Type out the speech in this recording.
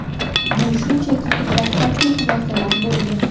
Bu shunchaki dastlabki xulosalar bo‘lgan.